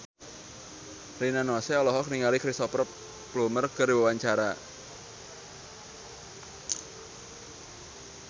Rina Nose olohok ningali Cristhoper Plumer keur diwawancara